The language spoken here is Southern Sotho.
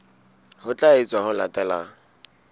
ho tla etswa ho latela